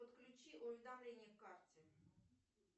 подключи уведомление к карте